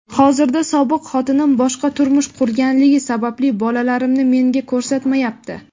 Hozirda sobiq xotinim boshqa turmush qurganligi sababli bolalarimni menga ko‘rsatmayapti.